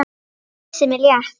Kyssir mig létt.